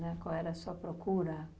Né, qual era a sua procura?